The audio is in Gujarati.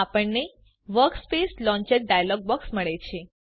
આપણને વર્કસ્પેશ લોંચર ડાયલોગ બોક્સ મળે છે